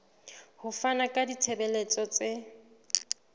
ho fana ka ditshebeletso tse